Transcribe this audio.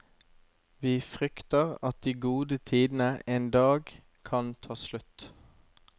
Vi frykter at de gode tidene en dag kan ta slutt.